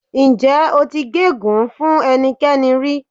Ǹjẹ́ o ti gégùnu-ún fún ẹnikẹ́ni rí?